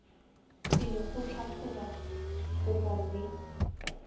pele go tlhatlhoba kopo mme